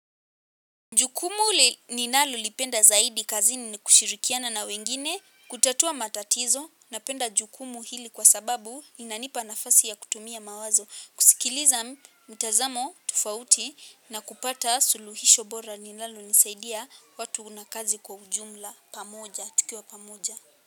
Jukumu ninalolipenda zaidi kazini nikushirikiana na wengine, kutatua matatizo, napenda jukumu hili kwasababu inanipa nafasi ya kutumia mawazo, kusikiliza mtazamo tofauti na kupata suluhisho bora linalo nisaidia watu nakazi kwa ujumla pamoja, tukiwa pamoja.